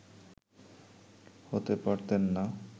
হতে পারতেন না